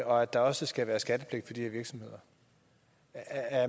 og at der også skal være skattepligt for de her virksomheder er